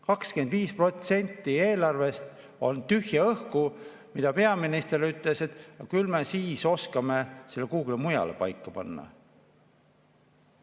25% eelarvest on tühja õhku, mille kohta peaminister ütles, et küll me siis oskame selle kuhugi mujale paika panna.